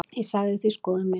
Ég sagði því skoðun mína.